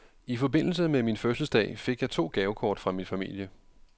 I forbindelse med min fødselsdag fik jeg to gavekort fra min familie.